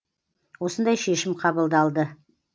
осындай шешім қабылдалды